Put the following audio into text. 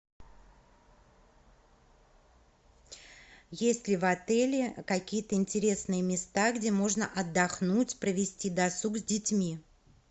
есть ли в отеле какие то интересные места где можно отдохнуть провести досуг с детьми